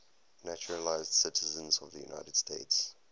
naturalized citizens of the united states